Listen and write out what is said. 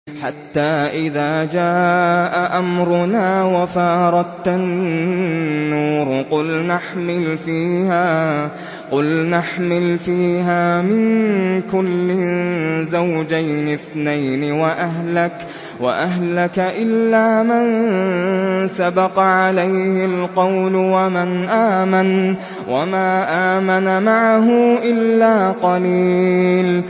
حَتَّىٰ إِذَا جَاءَ أَمْرُنَا وَفَارَ التَّنُّورُ قُلْنَا احْمِلْ فِيهَا مِن كُلٍّ زَوْجَيْنِ اثْنَيْنِ وَأَهْلَكَ إِلَّا مَن سَبَقَ عَلَيْهِ الْقَوْلُ وَمَنْ آمَنَ ۚ وَمَا آمَنَ مَعَهُ إِلَّا قَلِيلٌ